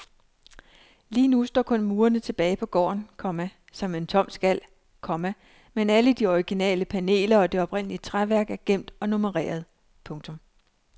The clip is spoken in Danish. Lige nu står kun murene tilbage på gården, komma som en tom skal, komma men alle de originale paneler og det oprindelige træværk er gemt og nummereret. punktum